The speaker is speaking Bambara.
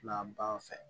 Na ban fɛ